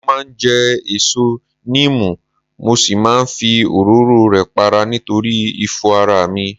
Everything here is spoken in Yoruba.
Mo máa ń jẹ èso níìmù mo sì máa ń fi òróró ẹ̀ para nítorí ifo ara mi